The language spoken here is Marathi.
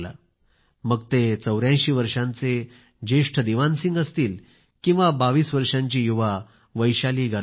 मग ते 84 वर्षांचे जेष्ठ दिवान सिंह असतील किंवा 22 वर्षांची युवा वैशाली गरब्याल